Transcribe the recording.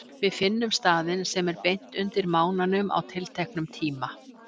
Við finnum staðinn sem er beint undir mánanum á tilteknum tíma.